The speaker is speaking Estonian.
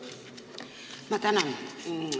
Ma tänan!